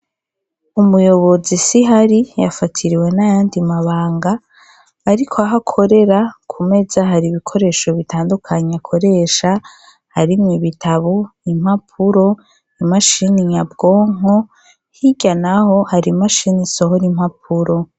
Umuyobozi siho ari, yafatiriwe n'ayandi mabanga. Ariko aho akorera, ku meza hari ibikoresho bitandukanye akoresha harimwo: ibitabu, impapuro, imashini nyabwonko; hirya naho hari imsashini isohora impapuro.